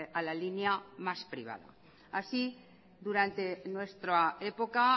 a la línea más privada así durante nuestra época